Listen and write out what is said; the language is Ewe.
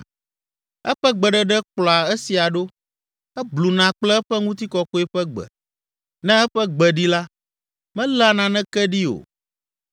Eƒe gbeɖeɖe kplɔa esia ɖo, ebluna kple eƒe ŋutikɔkɔe ƒe gbe. Ne eƒe gbe ɖi la, meléa naneke ɖi o.